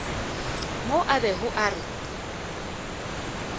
mo a bego a re